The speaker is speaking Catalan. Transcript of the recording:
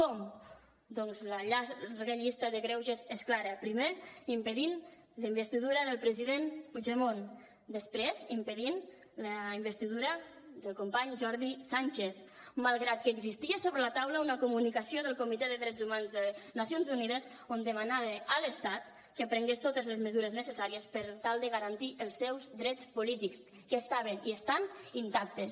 com doncs la llarga llista de greuges és clara primer impedint la investidura del president puigdemont després impedint la investidura del company jordi sànchez malgrat que existia sobre la taula una comunicació del comitè de drets humans de nacions unides on demanava a l’estat que prengués totes les mesures necessàries per tal de garantir els seus drets polítics que estaven i estan intactes